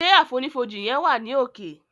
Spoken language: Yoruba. Ṣe àfonífojì yen wa ni òkè.